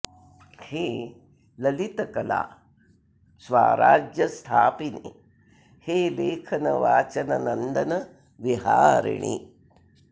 हे ललितकला स्वाराज्य स्थापिनि हे लेखन वाचन नन्दन विहारिणि